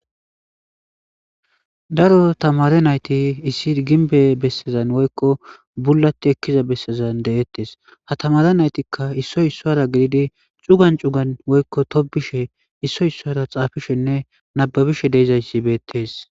Daro tamare nayti issir ginbe bessezan woykko bullati ekkiza bessezan de'ettes ha tamare naytikka issoy issora gididi cugan cugan woykko tobishe issoy issora xaafishenne nababishe deizayssi beettes.